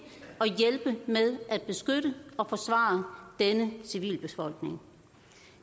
og hjælpe med at beskytte og forsvare denne civilbefolkning